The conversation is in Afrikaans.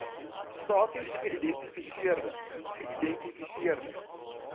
stasies geïdentifiseerde geïdentifiseerde